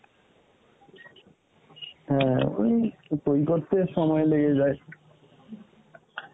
হ্যাঁ উম ওই করতে সময় লেগে যায়